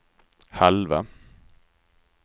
halva